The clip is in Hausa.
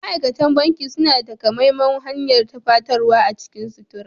Ma'aikatan banki suna da takamaiman hanyar tufatarwa a cikin sutura.